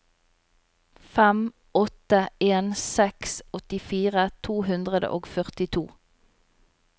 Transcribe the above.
fem åtte en seks åttifire to hundre og førtito